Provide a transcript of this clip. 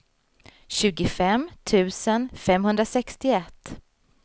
tjugofem tusen femhundrasextioett